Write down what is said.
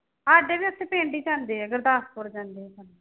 ਸਾਡੇ ਵੀ ਇੱਥੇ ਪਿੰਡ ਈ ਜਾਂਦੇ ਐ, ਗੁਰਦਾਸਪੁਰ ਜਾਂਦੇ ਇਹ ਤਾਂ।